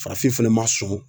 Farafin fɛnɛ ma sɔn